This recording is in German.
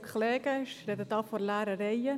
Ich spreche hier vor leeren Reihen.